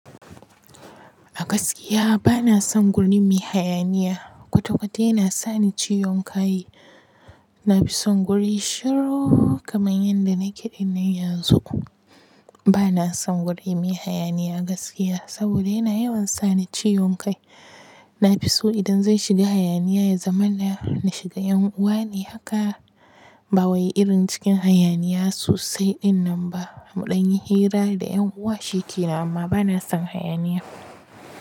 A gaskiya bana son guri mai hayaniya. Kwata kwata yana sani ciwon kai. Na fi son guri shiru kamar yadda nake ɗinnan yanzu. Bana son guri mai hayaniya gaskiya saboda yana yawan sani ciwon kai. Na fi so idan zan shiga hayaniya ya zamana, na shiga ƴan uwa ne haka. Ba wai irin cikin hayaniya sosai ɗinnan ba. Muɗan yi hira da ƴan uwa shike nan amma bana son hayaniya.